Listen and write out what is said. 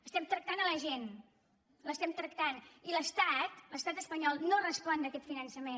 estem tractant la gent l’estem tractant i l’estat l’estat espanyol no respon d’aquest finançament